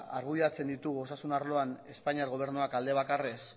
argudiatzen ditugu osasun arloan espainiar gobernuak alde bakarrez